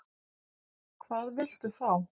Hvað viltu þá?